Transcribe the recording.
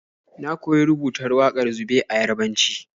Na koyi rubutar wakar zube a Yarabanci.